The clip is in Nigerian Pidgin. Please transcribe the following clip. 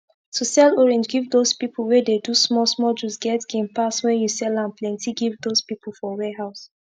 to sell orange give dos pipu wey dey do small small juice get gain pass wen u sell am plenti give dos pipu for warehouse